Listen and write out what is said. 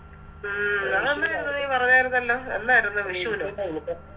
ഉം അത് നമ്മളന്ന് നീ പറഞ്ഞാരുന്നല്ലോ എന്നാരുന്നു വിഷുനോ